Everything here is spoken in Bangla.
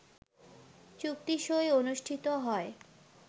চুক্তিসই অনুষ্ঠিত হয়